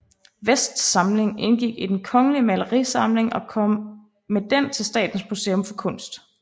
Wests samling indgik i Den Kongelige Malerisamling og kom med den til Statens Museum for Kunst